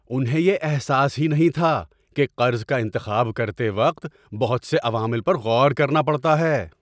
انہیں یہ احساس ہی نہیں تھا کہ قرض کا انتخاب کرتے وقت بہت سے عوامل پر غور کرنا پڑتا ہے!